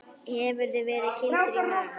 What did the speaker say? Hefurðu verið kýldur í magann?